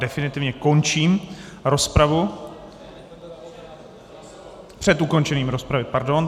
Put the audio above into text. Definitivně končím rozpravu - před ukončením rozpravy, pardon.